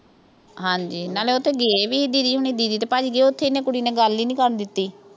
ਹਾਂਜੀ ਨਾਲੇ ਉਹ ਤਾਂ ਗਏ ਵੀ ਸੀ। didi ਹੋਣੀਂ didi ਤੇ ਭਾਜੀ। ਉਥੇ ਇਹਨੇ ਕੁੜੀ ਨੇ ਗੱਲ ਹੀ ਨੀਂ ਕਰਨ ਦਿੱਤੀ।